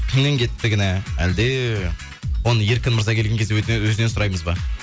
кімнен кетті кінә әлде оны еркін мырза келген кезде өзінен сұраймыз ба